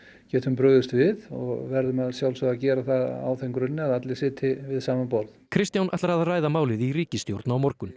getum brugðist við og verðum að sjálfsögðu að gera það á þeim grunni að allir sitji við sama borð Kristján ætlar að ræða málið í ríkisstjórn á morgun